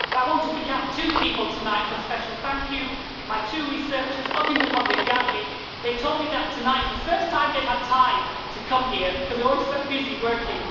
But I want to pick out two people tonight for a special thank you my two researchers up in the public gallery. They told me that tonight is the first time they've had time to come here, because they're always so busy working.